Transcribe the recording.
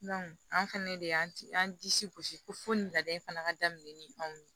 an fɛnɛ de y'an disi gosi ko fo ni laada in fana ka daminɛ ni anw ye